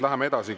Läheme edasi.